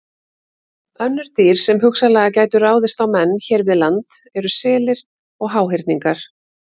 Önnur dýr sem hugsanlega gætu ráðist á menn hér við land eru selir og háhyrningar.